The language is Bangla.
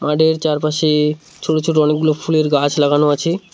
মাঠের চারপাশে ছোট ছোট অনেকগুলো ফুলের গাছ লাগানো আছে।